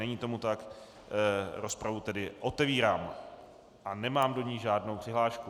Není tomu tak, rozpravu tedy otevírám a nemám do ní žádnou přihlášku.